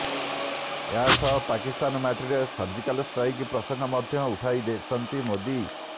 ଏହା ସହ ପାକିସ୍ତାନ ମାଟିରେ ସର୍ଜିକାଲ ଷ୍ଟ୍ରାଇକ୍ ପ୍ରସଙ୍ଗ ମଧ୍ୟ ଉଠାଇଛନ୍ତି ମୋଦି